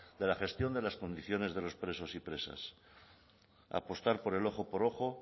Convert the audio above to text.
de la gestión de las condiciones de los presos y presas apostar por el ojo por ojo